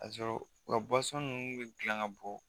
K'a sɔrɔ u ka minnu bɛ dilan ka bɔ